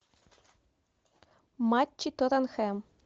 матчи тоттенхэм